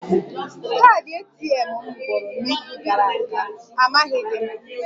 Kaadị ATM m gwụrụ n'izu gara aga, amaghịdị m